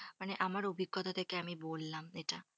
মানে আমার অভিজ্ঞতা থেকে আমি বললাম এটা।